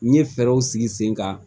N ye fɛɛrɛw sigi sen kan